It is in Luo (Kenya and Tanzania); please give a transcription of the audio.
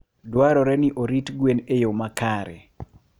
Dwarore ni orit gwen e yo makare.